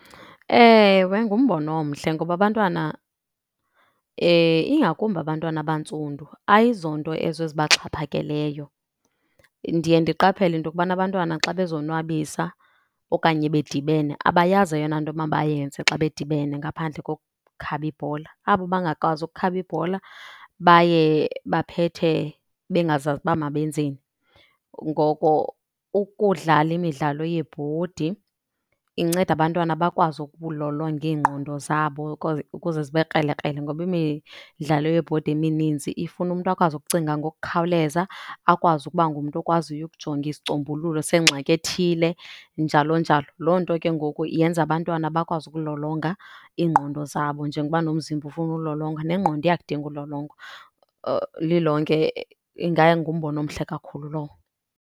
Ewe, ngumbono omhle ngoba abantwana, ingakumbi abantwana abantsundu ayizonto ezo ezibaxhaphakeleyo. Ndiye ndiqaphele into yokubana abantwana xa bezonwabisa okanye bedibene abayazi eyona nto mabayenze xa bedibene ngaphandle kokukhaba ibhola. Abo bangakwazi ukukhaba ibhola baye baphethe bengazazi uba mabenzeni. Ngoko ukudlala imidlalo yebhodi inceda abantwana bakwazi ukulolonga iingqondo zabo ukuze zibe krelekrele. Ngoba imidlalo yebhodi emininzi ifuna umntu akwazi ukucinga ngokukhawuleza, akwazi ukuba ngumntu okwaziyo ukujonga isicombululo sengxakini ethile, njalo njalo. Loo nto ke ngoku yenze abantwana bakwazi ukulolonga iingqondo zabo, njengoba nomzimba ufuna ulolongwa nengqondo iyakudinga ulolongwa. Lilonke ingangumbono omhle kakhulu lowo.